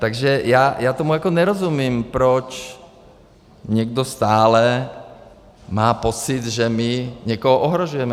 Takže já tomu jako nerozumím, proč někdo stále má pocit, že my někoho ohrožujeme.